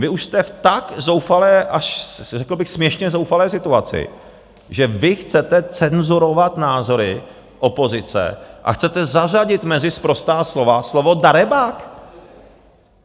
vy už jste v tak zoufalé až řekl bych směšně zoufalé situaci, že vy chcete cenzurovat názory opozice a chcete zařadit mezi sprostá slova slovo darebák?